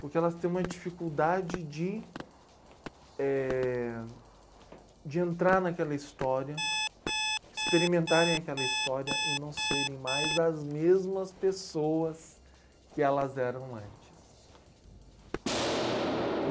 Porque elas têm uma dificuldade de, eh, de entrar naquela história, experimentarem aquela história e não serem mais as mesmas pessoas que elas eram antes.